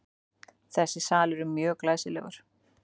Þessi salur er mjög glæsilegur.